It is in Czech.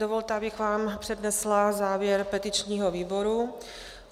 Dovolte, abych vám přednesla závěr petičního výboru.